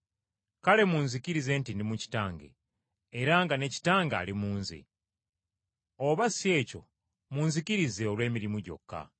Kale munzikirize nti ndi mu Kitange era nga ne Kitange ali mu Nze. Oba si ekyo munzikirize olw’emirimu gyokka.